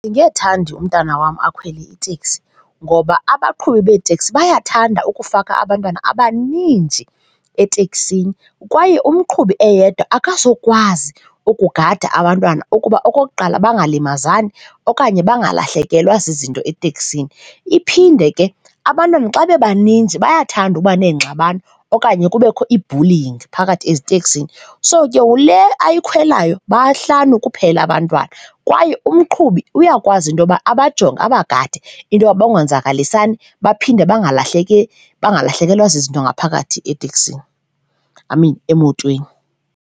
Andingethandi umntana wam akhwele iteksi ngoba abaqhubi beeteksi bayathanda ukufaka abantwana abaninzi etekisini kwaye umqhubi eyedwa akazokwazi ukugada abantwana ukuba, okokuqala bangalimazani okanye bangalahlekelwa zizinto eteksini. Iphinde ke abantwana xa bebaninzi bayathanda ukuba neengxabano okanye kubekho ii-bullying phakathi eziteksini. So, ke ngoku le ayikhwelayo bahlanu kuphela abantwana kwaye umgqubi uyakwazi into yoba abajonge, abagade into yoba bangonzakalisani baphinde bangalahleki, bangalahlekelwa zizinto ngaphakathi eteksini, I mean emotweni.